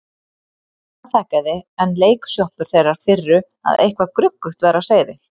Hann afþakkaði, enn leiksoppur þeirrar firru að eitthvað gruggugt væri á seyði.